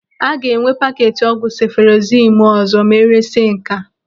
A ga-enwe paketi ọgwụ sefụrozimu ọzọ ma eresia nke a?